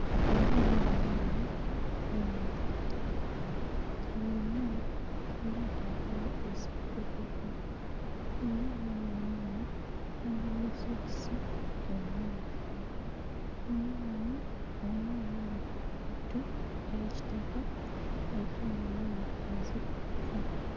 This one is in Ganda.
Abaana bano eno bayimiridde nga bonna bambadde empale eza bbululu era abaana bano eno bambadde sokisi emmyufu, omwana omu ayambadde engatto eya kitaka ate omulala ayambadde enzirugavu